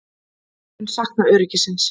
Mun sakna öryggisins.